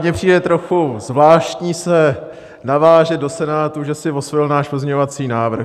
Mně přijde trochu zvláštní se navážet do Senátu, že si osvojil náš pozměňovací návrh.